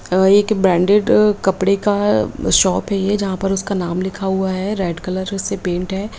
अ एक ब्रांडेड कपड़े का शॉप है ये जहाँ पर उसका नाम लिखा हुआ रेड कलर से पेंट है।